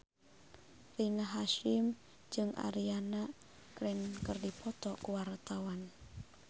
Rina Hasyim jeung Ariana Grande keur dipoto ku wartawan